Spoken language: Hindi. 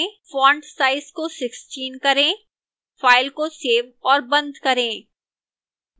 font size को 16 करें file को सेव और बंद करें